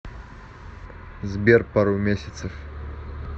сбер пару месяцев